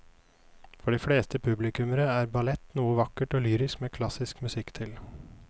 For de fleste publikummere er ballett noe vakkert og lyrisk med klassisk musikk til.